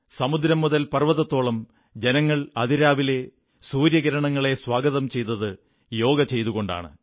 സമുദ്രം മുതൽ പർവ്വതത്തോളം ജനങ്ങൾ അതിരാവിലെ സൂര്യകിരണങ്ങളെ സ്വാഗതം ചെയ്തത് യോഗ ചെയ്തുകൊണ്ടാണ്